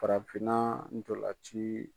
Farafinna ntolan ci